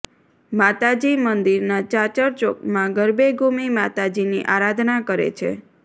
માતાજી મંદિરનાં ચાચર ચોકમાં ગરબે ઘૂમી માતાજીની આરાધના કરે છે